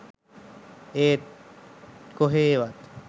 ඒත් කොහේවත්